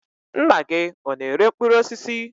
Nna gị ọ na-ere mkpụrụ osisi?